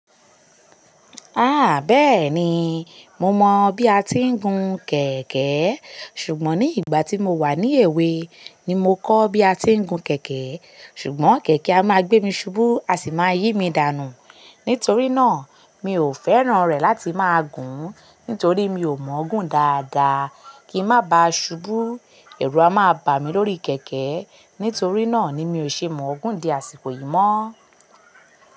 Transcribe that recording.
Ah bẹ́ẹ̀ni, mo mọ̀ bí a ti ń gun kẹ̀kẹ́. Ṣùgbọ́n ní ìgbà tí mo wà ní èwe ni mo kọ́ bí a ti ń gun kẹ̀kẹ́. Ṣùgbọ́n kẹ̀kẹ́ a máa gbé mi ṣubú, a sì máa yí mi dànù. Nítorí náà, mi ò fẹ́ràn rẹ̀ láti máa gùn, nítorí mi ò mọ Ògùn dáadáa. Kí ń má ba ṣubú, ẹ̀rù a máa bà mí lórí kẹ̀kẹ́. Nítorí náà ni mi ò ṣe mọ Ògùn di àsìkò yìí mọ́.